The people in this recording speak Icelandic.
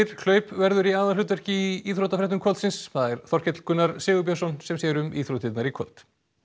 hlaup verða í aðalhlutverki í íþróttafréttum kvöldsins það er Þorkell Gunnar Sigurbjörnsson sem sér um íþróttirnar í kvöld